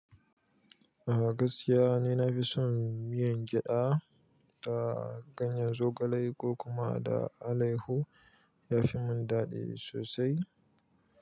A gaskiya ni na fi son miyan gyaɗa da ganyen zogale ko kuma da alaihu. Ya fi mun daɗi sosai.